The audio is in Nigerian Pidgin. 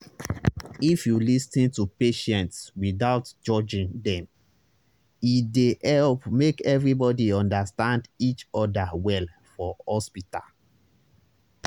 if you lis ten to patients without judging dem e dey help make everybody understand each other well for hospital.